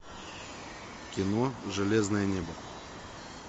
кино железное небо